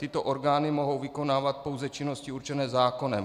Tyto orgány mohou vykonávat pouze činnosti určené zákonem.